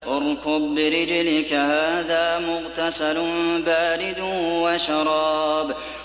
ارْكُضْ بِرِجْلِكَ ۖ هَٰذَا مُغْتَسَلٌ بَارِدٌ وَشَرَابٌ